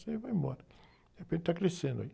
Isso aí vai embora... De repente está crescendo aí.